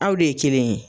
Aw de ye kelen ye